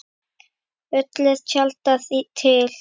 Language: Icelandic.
Öllu er tjaldað til.